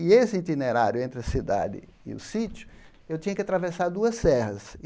E esse itinerário entre a cidade e o sítio, eu tinha que atravessar duas serras.